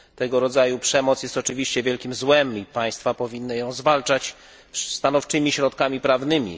Tego rodzaju przemoc jest oczywiście wielkim złem i państwa powinny ją zwalczać stanowczymi środkami prawnymi.